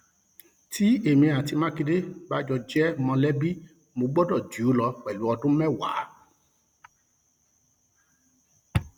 tí èmi àti mákindé bá jọ jẹ mọlẹbí mo gbọdọ jù ú lọ pẹlú ọdún mẹwàá